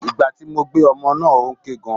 Ìgbà tí mo gbé ọmọ náà ó ń ké gan.